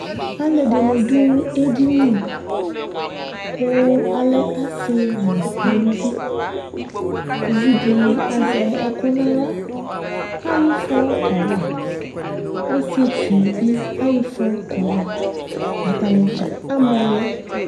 alu ɛdini du edini ku alɛ asi nu aluvi, uvi di azɛ ɛku nu aɣla ayɔ ifɔ kawa ɔsietsu bi ayɔ ifɔ kawa ata ni dza amɔ lɛ